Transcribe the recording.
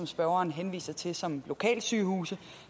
spørgeren henviser til som lokalsygehuse